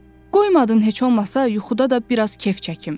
Qoymadın heç olmasa yuxuda da biraz kef çəkim.